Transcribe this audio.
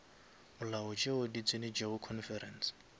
molao tšeo di tsenetšego conference